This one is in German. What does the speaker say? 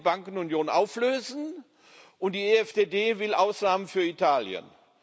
Die GUE will die Bankenunion auflösen und die EFDD will Ausnahmen für Italien.